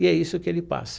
E é isso o que ele passa.